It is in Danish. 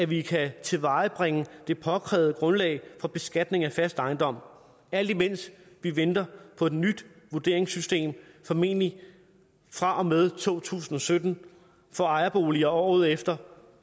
vi kan tilvejebringe det påkrævede grundlag for beskatning af fast ejendom alt imens vi venter på et nyt vurderingssystem formentlig fra og med to tusind og sytten for ejerboliger og året efter